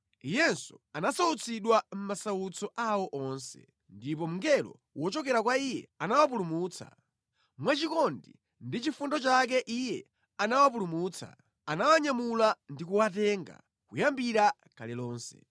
Iyenso anasautsidwa mʼmasautso awo onse, ndipo mngelo wochokera kwa Iye anawapulumutsa. Mwa chikondi ndi chifundo chake iye anawapulumutsa, anawanyamula ndikuwatenga kuyambira kale lomwe.